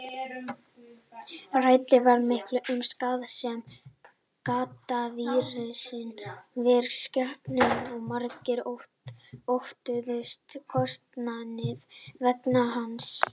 Rætt var mikið um skaðsemi gaddavírsins fyrir skepnurnar og margir óttuðust kostnaðinn vegna hans.